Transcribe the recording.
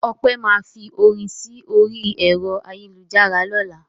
Ọpẹ́ máa fi orin sí orí ẹ̀rọ ayélujára lọ́la.